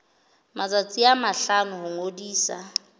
matsatsi a mahlano ho ngodisa